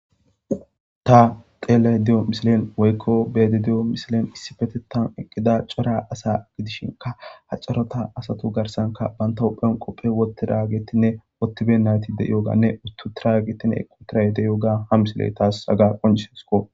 Ta teele di7o misilen woykko bedi diyo misilen issi fetetan eqqida cora asa gidishinka haccarota asatu garsanka banta hupheon qophe wotti raagettinne wottibe nayti de yooganne uttu tiragetine eqqutiray deyoga ha misile taas aga qoncesko.